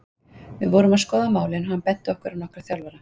Við vorum að skoða málin og hann benti okkur á nokkra þjálfara.